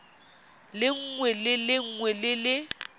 lengwe le lengwe le le